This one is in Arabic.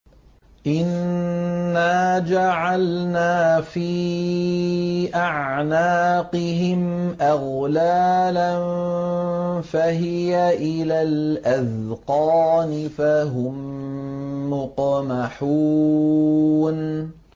إِنَّا جَعَلْنَا فِي أَعْنَاقِهِمْ أَغْلَالًا فَهِيَ إِلَى الْأَذْقَانِ فَهُم مُّقْمَحُونَ